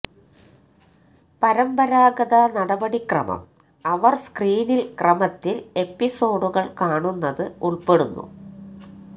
പരമ്പരാഗത നടപടിക്രമം അവർ സ്ക്രീനിൽ ക്രമത്തിൽ എപ്പിസോഡുകൾ കാണുന്നത് ഉൾപ്പെടുന്നു